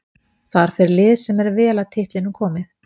Þar fer lið sem er vel að titlinum komið.